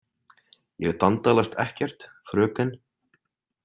Ég dandalast ekkert, fröken.